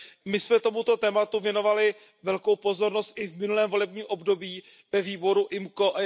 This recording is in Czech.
My jsme tomuto tématu věnovali velkou pozornost i v minulém volebním období ve výboru IMCO.